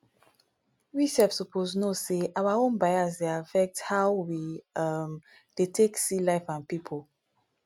we sef suppose know sey our own bias dey affect how we um take dey see life and pipo